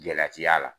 Gɛlɛya ti y'a la